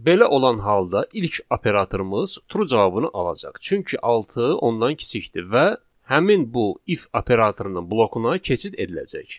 Belə olan halda ilk operatorumuz true cavabını alacaq, çünki altı ondan kiçikdir və həmin bu if operatorunun blokuna keçid ediləcək.